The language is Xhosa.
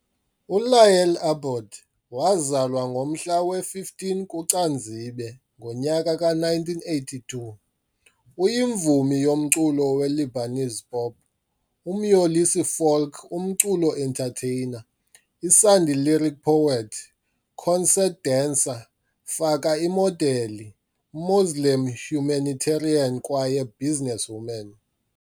ULayal Abboud Waazalwa ngomhla we-15 kuCanzibe, ngonyaka ka-1982 uyimvumi yomculo we-Lebanese pop, umyolisi folk umculo entertainer, isandi-lyric poet, concert dancer, faka imodeli, Muslim humanitarian kwaye businesswoman.